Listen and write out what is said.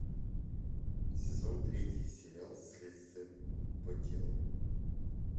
сезон третий сериал следствие по телу